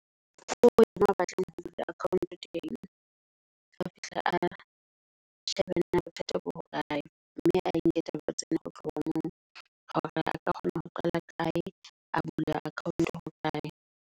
Ho ya moo a batlang ho bula account-o teng, a fihle a shebe na bothata bo hokae mme a enke taba tsena ho tloha moo. Hore a ka kgona ho qala kae, a bule account-o ho kae.